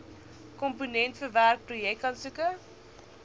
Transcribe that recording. komponent verwerk projekaansoeke